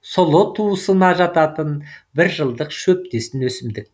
сұлы туысына жататын бір жылдық шөптесін өсімдік